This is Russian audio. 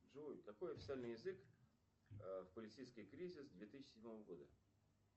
джой какой официальный язык в полицейский кризис две тысячи седьмого года